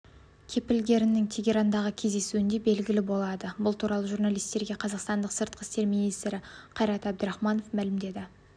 кепілгерлерінің тегерандағы кездесуінде белгілі болады бұл туралы журналистерге қазақстанның сыртқы істер министрі қайрат әбдірахманов мәлімдеді